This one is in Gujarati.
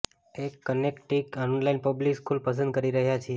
એક કનેક્ટિકટ ઓનલાઇન પબ્લિક સ્કૂલ પસંદ કરી રહ્યા છીએ